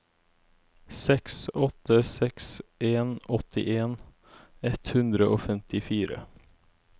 seks åtte seks en åttien ett hundre og femtifire